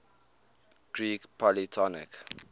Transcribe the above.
greek polytonic